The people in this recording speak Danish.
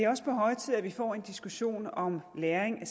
også på høje tid at vi får en diskussion om lagring